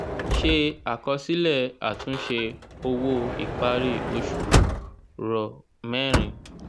se àkọsílẹ̀ àtúnṣe owó ìparí oṣù ro mẹrin.